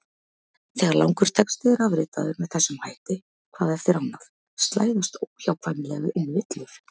Þegar langur texti er afritaður með þessum hætti hvað eftir annað slæðast óhjákvæmilega inn villur.